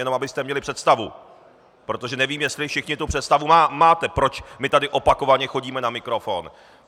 Jenom abyste měli představu, protože nevím, jestli všichni tu představu máte, proč my tady opakovaně chodíme na mikrofon.